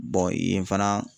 yen fana